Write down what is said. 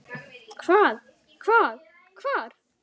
Hvað. hvað. hvar.